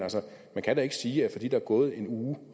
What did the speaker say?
man kan da ikke sige fordi der er gået en uge